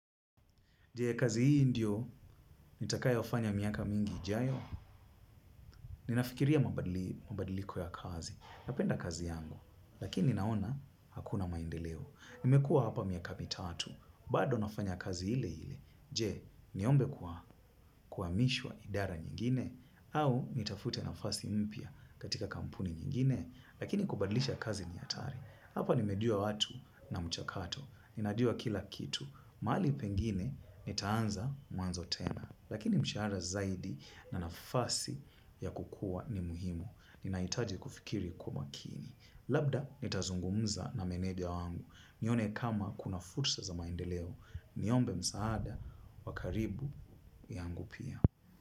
Je, kazi hii ndiyo, nitakayofanya miaka mingi ijayo. Ninafikiria mabadiliko ya kazi. Napenda kazi yangu, lakini naona hakuna maendeleo. Nimekua hapa miaka mitatu, bado nafanya kazi ile ile. Je, niombe kuhamishiwa idara nyingine, au nitafute nafasi mpya katika kampuni nyingine, lakini kubadilisha kazi ni hatari. Hapa nimejua watu na mchakato. Ninajuo kila kitu, mahali pengine nitaanza mwanzo tena. Lakini mshahara zaidi na nafasi ya kukua ni muhimu. Ninahitaji kufikiri kwa makini. Labda nitazungumza na meneja wangu nione kama kuna fursa za maendeleo. Niombe msaada, wa karibu yangu pia.